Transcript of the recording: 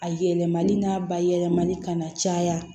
A yɛlɛmali n'a ba yɛlɛmani kana caya